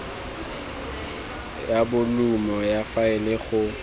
ya bolumo ya faele go